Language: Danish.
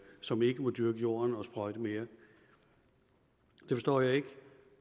som ikke må dyrke jorden og sprøjte mere det forstår jeg ikke